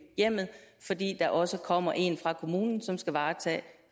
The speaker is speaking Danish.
hjemmet fordi der også kommer en fra kommunen som skal varetage